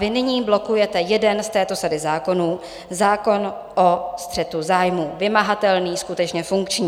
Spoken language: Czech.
Vy nyní blokujete jeden z této sady zákonů, zákon o střetu zájmů, vymahatelný, skutečně funkční.